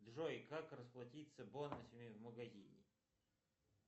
джой как расплатиться бонусами в магазине